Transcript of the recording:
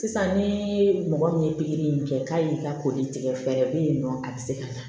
Sisan ni mɔgɔ min ye pikiri in kɛ k'a y'i ka ko de tigɛ fɛɛrɛ bɛ yen nɔ a bɛ se ka na